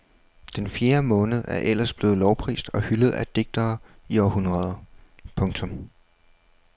Den fjerde måned er ellers blevet lovprist og hyldet af digtere i århundreder. punktum